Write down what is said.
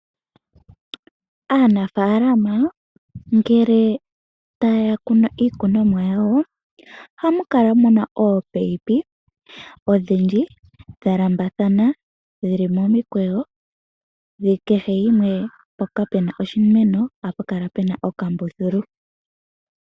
Aanafaalama ngele taya kunu iikunomwa yawo, ohamu kala muna ominino odhindji dha lambathana dhili momikweyo, kehe mpoka puna oshimeno ohapu kala puna okambululu.